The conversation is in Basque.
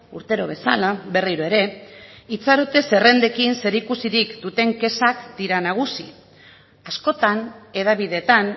urtero bezala berriro ere itxarote zerrendekin zerikusirik duten kexak dira nagusi askotan hedabideetan